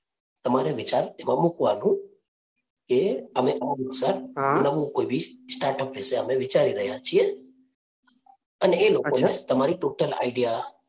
તમારે વિચાર એમાં મૂકવાનું એ અને નવું કોઈ બી start up વિશે અમે વિચારી રહ્યા છીએ અને એ લોકો ને તમારે totally idea